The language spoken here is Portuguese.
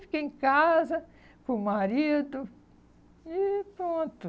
Fiquei em casa com o marido e e pronto.